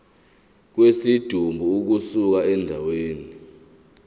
kwesidumbu ukusuka endaweni